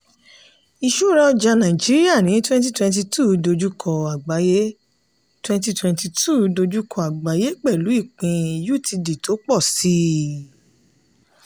ìṣúra ọjà nàìjíríà ní 2022 dojúkọ àgbáyé 2022 dojúkọ àgbáyé pẹ̀lú ìpín utd tó pọ̀ síi.